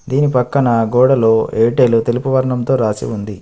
దీని పక్కన గోడలో ఎయిర్టెల్ తెలుపు వర్ణంతో రాసి ఉంది.